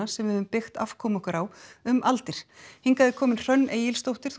sem við höfum byggt afkomu okkar á um aldir hingað er komin Hrönn Egilsdóttir